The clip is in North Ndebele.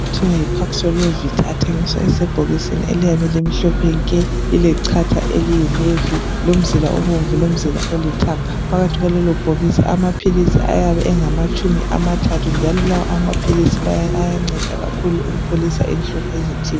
Okuthiwa yi Paso Novit athengiswa ebhokisini eliyabe limhlophe nke. Lilecatha eliyi Navy lomzila obomvu lomzila olithanganga. Phakathi kwalelo bhokisi amaphilisi ayabe engamatshumi amathathu. Njalo lawa maphilisi ayanceda kakhulu ukupholisa inhlungu ezithile